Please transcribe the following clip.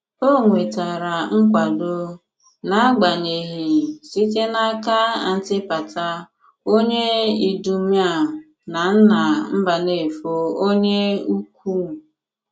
O nwetère nkwàdò, n’agbànyeghi, site n'aka Àntìpàtà, onye Ìdùmèà na nnà Mbànéfò Onye Ukwù.